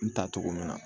N ta togo min na